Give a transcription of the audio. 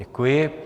Děkuji.